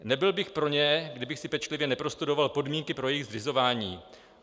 Nebyl bych pro ně, kdybych si pečlivě neprostudoval podmínky pro jejich zřizování.